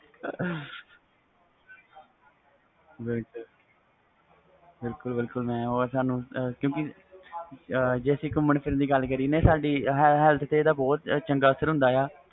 ਬਿਲਕੁਲ ਬਿਲਕੁਲ madam ਜੇ ਅਸੀਂ ਗੁਮਨ ਫਿਰਨ ਦੀ ਗੱਲ ਕਰੀਏ ਤਾ ਸਾਡੀ health ਤੇ ਇਹਦਾ ਬਹੁਤ ਚੰਗਾ ਅਸਰ ਹੁੰਦਾ ਵ